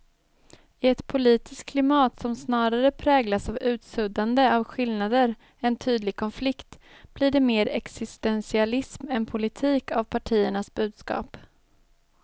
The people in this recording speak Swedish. I ett politiskt klimat som snarare präglas av utsuddande av skillnader än tydlig konflikt blir det mer existentialism än politik av partiernas budskap.